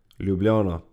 Ljubljana.